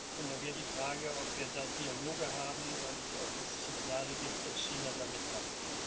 Und da wäre die Frage, ob wir da Dialoge haben und ob es Signale gibt, dass China da mitmacht.